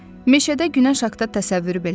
Meşədə günəş haqda təsəvvürü belə yox idi.